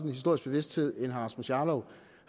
historisk bevidsthed end herre rasmus jarlov